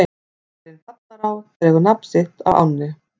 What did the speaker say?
Bærinn Ballará dregur nafn sitt af ánni.